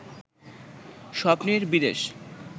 স্বপ্নের বিদেশ